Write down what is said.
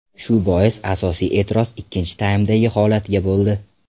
Shu bois asosiy e’tiroz ikkinchi taymdagi holatga bo‘ldi.